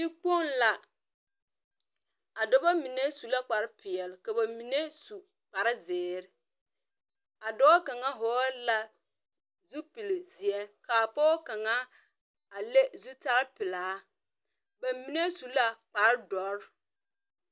Yikpong la, a dɔba mene su la kpare peɛle, ka ba mene su kpare ziiri a doɔ kanga vɔɔle la zupile zeɛ ka a poɔ kang a le zutari pelaa ba mene su la kpare dɔri.